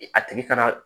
A tigi fana